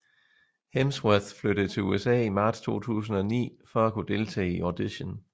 Hemsworth flyttede til USA i marts 2009 for at kunne deltage i audition